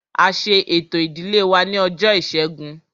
A ṣe ẹ̀tọ́ ìdílé wa ní ọjọ́ ìṣẹ́gun